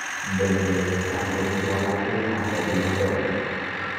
Bende tamruok juala Kenya odhi maber?